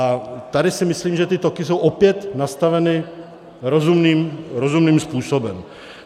A tady si myslím, že ty toky jsou opět nastaveny rozumným způsobem.